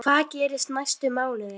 Hvað gerist næstu mánuði?